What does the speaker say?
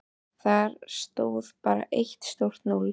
Þar stóð bara eitt stórt núll.